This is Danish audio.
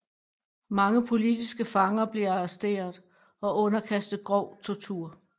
Mange politiske fanger blev arresteret og underkastet grov tortur